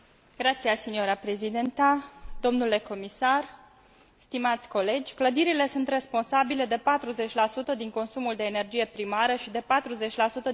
Domnule comisar, stimați colegi, clădirile sunt responsabile de 40 din consumul de energie primară și de 40 din emisiile de gaze cu efect de seră.